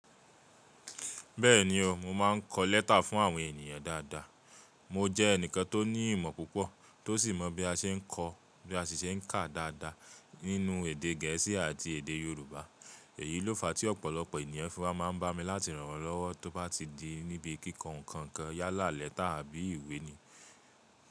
Bẹ́ẹ̀ni o, mo máa ń kọ lẹ́tà fún àwọn ènìyàn dáadáa. Mo jẹ́ ẹnìkan tó ní ìmọ̀ púpọ̀ tó sì mọ bí a ṣe ń kọ, bí a ṣe ń kà dáadáa nínú èdè Gẹ̀ẹ́sì àti èdè Yorùbá. Èyí ló fa tí ọ̀pọ̀lọpọ̀ ènìyàn fi máa ń bá mi láti ràn wọ́n lọ́wọ́ tó bá ti di níbi kíkọ ǹkan kan yálà lẹ́tà àbí ìwé ni.